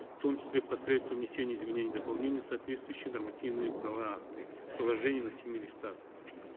в том числе посредством внесения изменений и дополнений в соответствующие нормативно правовые акты приложение на семи листах